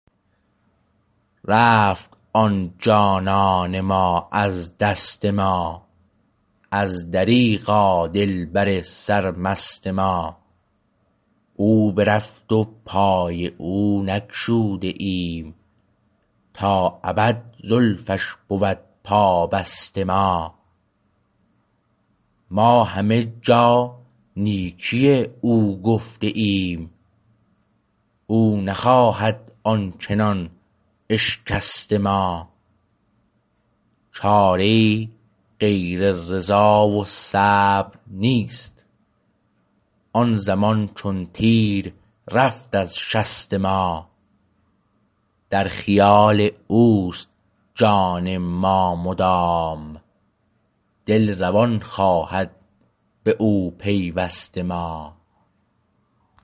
رفت آن جانان ما از دست ما از دریغا دلبر سر مست ما او برفت و پای او نگشوده ایم تا ابد زلفش بود پا بست ما ما همه جا نیکی او گفته ایم او نخواهد آنچنان اشکست ما چاره ای غیر رضا و صبر نیست این زمان چون تیر رفت از شست ما در خیال او است جان ما مدام دل روان خواهد به او پیوست ما